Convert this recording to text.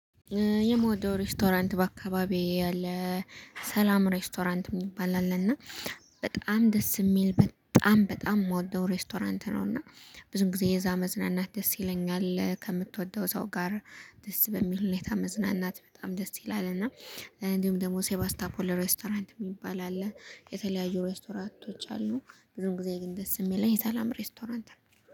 የምወደው ሬስቶራንት በአካባቢየ ያለ ሰላም ሬስቶራንት የሚባል አለና በጣም ደስ የሚል በጣም በጣም የምወደው ሬስቶራንት ነው። እና ብዙ ጊዜ እዛ መዝናናት ደስ ይለኛል። ከምትወደው ሰው ጋር ደስ በሚል ሁኔታ መዝናናት በጣም ደስ ይላል። እና እንዲሁም ደግሞ ሴባስታፖር ሬስቶራንት የሚባል አለ። የተለያዩ ሬስቶራንቶች አሉ። ብዙም ጊዜ ግን ደስ የሚል ሰላም ሬስቶራንት ነው